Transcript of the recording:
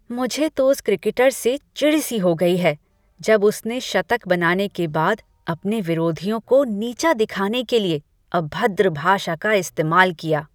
मुझे तो उस क्रिकेटर से चिढ़ सी हो गई है जब उसने शतक बनाने के बाद अपने विरोधियों को नीचा दिखाने के लिए अभद्र भाषा का इस्तेमाल किया।